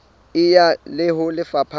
e ya ho lefapha la